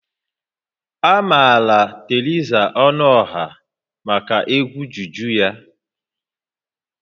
A maara Theresa Ọnụọha maka egwu juju ya